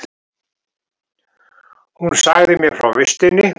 Hún sagði mér frá vistinni.